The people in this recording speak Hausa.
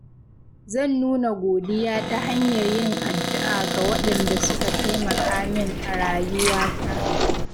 Zan nuna godiya ta hanyar yin addu’a ga waɗanda suka taimaka min a rayuwata.